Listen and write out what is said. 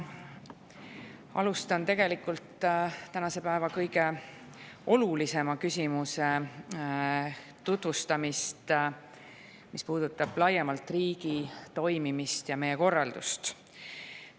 Alustan tegelikult tänase päeva kõige olulisema küsimuse tutvustamist, mis puudutab laiemalt riigi toimimist ja korraldust.